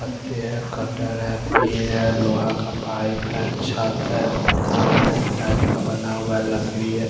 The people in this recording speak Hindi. पत्तिये हैं कटर हैं पैर हैं लोहा का पाइप हैं छट हैं पथान हैं इस टाइप का बना हुआ हैं लकड़ी हैं।